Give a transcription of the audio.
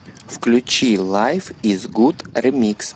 включи лайф из гуд ремикс